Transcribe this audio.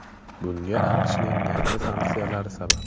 Bunga AQShning yangi sanksiyalari sabab.